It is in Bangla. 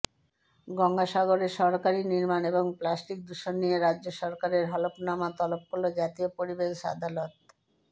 গঙ্গাসাগরে সরকারি নির্মাণ এবং প্লাস্টিক দূষণ নিয়ে রাজ্য সরকারের হলফনামা তলব করল জাতীয় পরিবেশ আদালত